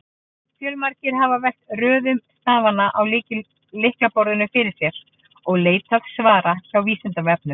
Fjölmargir hafa velt röðun stafanna á lyklaborðinu fyrir sér og leitað svara hjá Vísindavefnum.